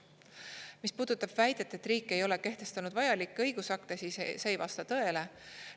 Mis puudutab väidet, et riik ei ole kehtestanud vajalikke õigusakte, siis see ei vasta tõele.